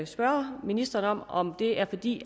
spørge ministeren om om det er fordi